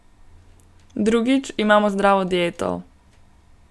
Drugič, imamo zdravo dieto.